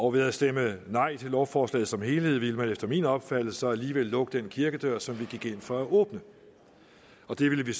og ved at stemme nej til lovforslaget som helhed ville man efter min opfattelse alligevel lukke den kirkedør som vi gik ind for at åbne det ville